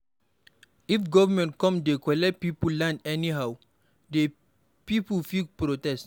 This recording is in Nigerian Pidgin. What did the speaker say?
If government come dey collect pipo land anyhow, de pipo fit protest